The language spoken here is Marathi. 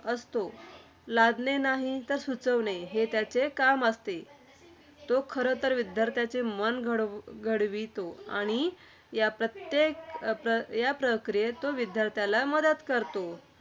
असतो. लादणे नाही तर सुचविणे, हे त्याचे काम असते. तो खरंतर विद्यार्थ्याचे मन घडवू घडवितो. आणि या प्रत्येक~ प्रकियेत तो विद्यार्थ्याला मदत करतो.